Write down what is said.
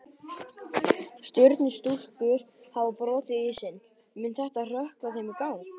Stjörnustúlkur hafa brotið ísinn, mun þetta hrökkva þeim í gang?